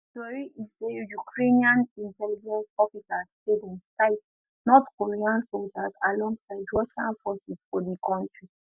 tori e say ukrainian intelligence officers say dem sight north korean soldiers alongside russian forces for di country